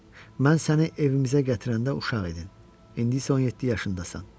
Mən səni evimizə gətirəndə uşaq idin, indi isə 17 yaşındasan.